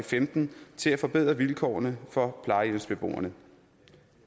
femten til at forbedre vilkårene for plejehjemsbeboerne